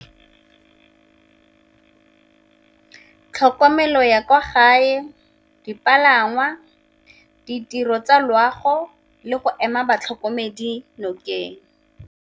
Tlhokomelo ya kwa gae, dipalangwa, ditiro tsa loago le go ema batlhokomedi nokeng.